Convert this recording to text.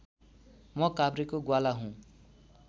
म काभ्रेको ग्वाला हुँ